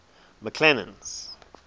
mcclennan's